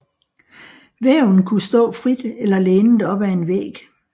Væven kunne stå frit eller lænet op ad en væg